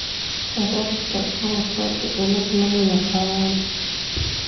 Sababta Kawasaki cilad lama yaqaan.